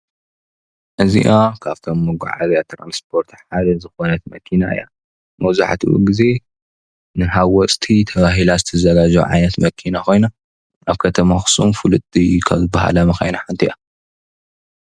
እዚኣ ካብቶም መጓዓዝያ ትራንስፖርት ሓደ ዝኾነት መኪና እያ፡፡ መብዛሕቲኡ ግዜ ንሓወስቲ ተባሂላ ዝተዘጋጀወት ዓይነት መኪና ኮይና ኣብ ከተማ ኣኽሱም ፍልጥቲ ካብ ዝበሃላ መኻይን ሓንቲ እያ፡፡